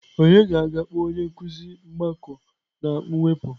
Onye ga-aga kpọọ onye nkuzi mgbakọ na mwepụ?